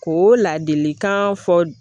Ko ladilikan fɔ